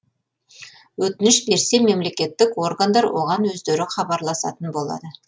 өтініш берсе мемлекеттік органдар оған өздері хабарласатын болады